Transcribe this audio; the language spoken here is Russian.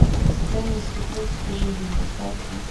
сцены из супружеской жизни поставь ка